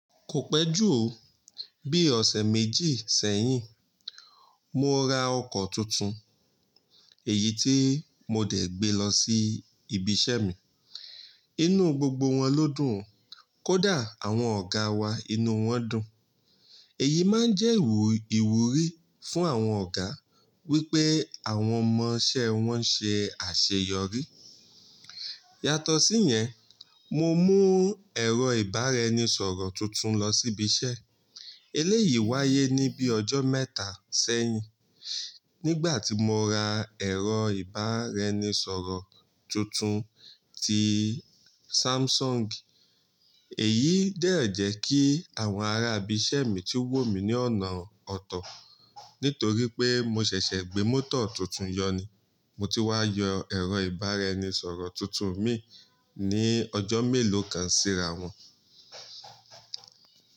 Kò pẹ́ jù ó, bí ọ̀sẹ̀ méjì sẹ́yìn, mo ra ọkọ̀ tuntun, èyí tí mo dẹ̀ gbé lọ sí ibi iṣẹ́ mi. Inú gbogbo wọn ló dùn, kódà àwọn ọ̀gáa wa inú wọn dùn. Èyí máa ń jẹ́ ìwúrí fún àwọn ọ̀gá, wípé àwọn ọmọ iṣẹ́ wọn ṣe àṣeyọrí. Yàtọ̀ sí yẹn, mo mú ẹ̀rọ ìbáraeni soro tuntun lọ sí ibi iṣẹ́. Eléyìí wáyé ní bíi ọjọ́ mẹ́ta sẹ́yìn, nígbà tí mo ra ẹ̀rọ ìbáraenisọ̀rọ̀ tuntun ti Samsung. Èyí dẹ̀ jẹ́ kí àwọn ará ibi iṣẹ́ mi tí wò mí ní ọ̀nà ọ̀tọ̀, nítorí pé mo ṣẹ̀ṣẹ̀ gbé mótò tuntun yọ ni, mo ti wá yọ ẹ̀rọ ìbáraenisọ̀rọ̀ tuntun mi ní ọjọ́ mélòó kan síra wọn.